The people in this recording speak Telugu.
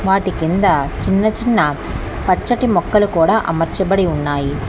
వాటి కింద చిన్న చిన్న పచ్చటి మొక్కలు కుడా అమర్చాబడి ఉన్నాయి.